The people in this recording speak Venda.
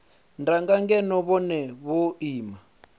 danga ngeno vhone vho ima